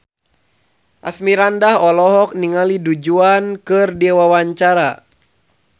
Asmirandah olohok ningali Du Juan keur diwawancara